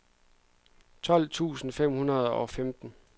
tolv tusind fem hundrede og femten